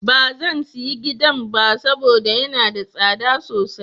Ba zan sayi gidan ba saboda yana da tsada sosai.